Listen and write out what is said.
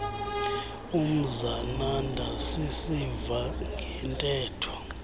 umzananda sisiva ngeentetho